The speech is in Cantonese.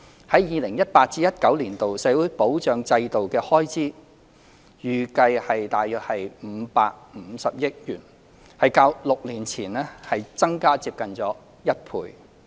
在 2018-2019 年度，社會保障制度的開支預計約550億元，較6年前增加接近一倍。